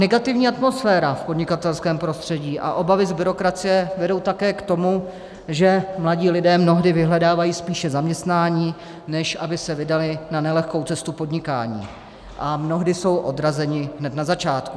Negativní atmosféra v podnikatelském prostředí a obavy z byrokracie vedou také k tomu, že mladí lidé mnohdy vyhledávají spíše zaměstnání, než aby se vydali na nelehkou cestu podnikání, a mnohdy jsou odrazeni hned na začátku.